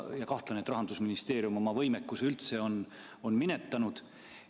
Ma kahtlustan, et Rahandusministeerium on oma võimekuse üldse minetanud.